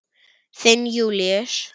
Þinn Júlíus.